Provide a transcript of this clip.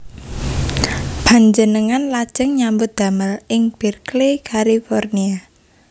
Panjenengan lajeng nyambut damel ing Berkeley California